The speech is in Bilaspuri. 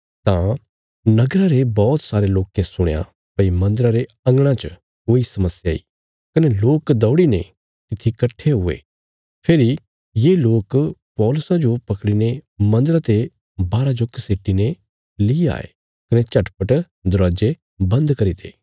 तां नगरा रे बौहत सारे लोकें सुणया भई मन्दरा रे अंगणा च कोई समस्या इ कने लोक दौड़ीने तित्थी कट्ठे हुये फेरी ये लोक पौलुसा जो पकड़ीने मन्दरा ते बाहरा जो घसीटी ने ली आये कने झटपट दरवाजे बन्द करी ते